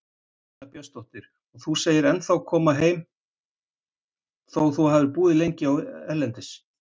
Birta Björnsdóttir: Og þú segir ennþá koma heim þó að þú hafi búið lengi erlendis?